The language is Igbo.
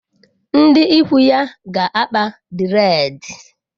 Ndi ikwu ya ga-akpa dreedi.